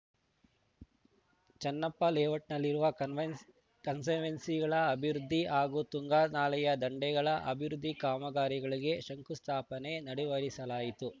ಚನ್ನಪ್ಪ ಲೇಔಟ್‌ನಲ್ಲಿರುವ ಕಾನ್ವೆಂಸ್ ಕನ್ಸರ್ವೆನ್ಸಿಗಳ ಅಭಿವೃದ್ಧಿ ಹಾಗೂ ತುಂಗಾ ನಾಲೆಯ ದಂಡೆಗಳ ಅಭಿವೃದ್ಧಿ ಕಾಮಗಾರಿಗಳಿಗೆ ಶಂಕುಸ್ಥಾಪನೆ ನೆಡೆವರಿಸಲಾಯಿತು